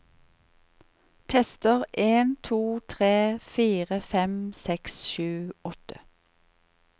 Tester en to tre fire fem seks sju åtte